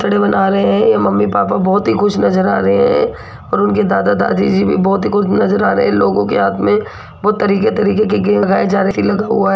चढ़े बना रहे हैं ये मम्मी पापा बहुत ही खुश नजर आ रहे हैं और उनके दादा दादी जी भी बहुत ही खुश नजर आ रहे हैं लोगों के हाथ में बहुत तरीके-तरीके के गेंद लगाए जा रहे लगा हुआ है।